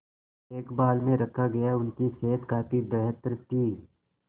देखभाल में रखा गया उनकी सेहत काफी बेहतर थी